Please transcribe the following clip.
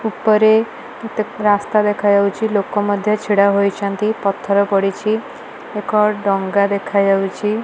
ଉପରେ କେତେକ ରାସ୍ତା ଦେଖାଯାଉଚି ଲୋକ ମଧ୍ୟ ଛିଡ଼ା ହୋଇଛନ୍ତି ପଥର ପଡ଼ିଚି ଏକ ଡ଼ଙ୍ଗା ଦେଖାଯାଉଚି।